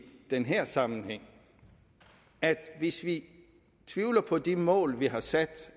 den her sammenhæng at hvis vi tvivler på de mål vi har sat